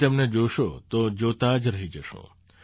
તમે તેમને જોશો તો જોતા જ રહી જશો